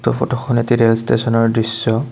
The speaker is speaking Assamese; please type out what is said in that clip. উক্ত ফটোখন এটি ৰেল ষ্টেচনৰ দৃশ্য।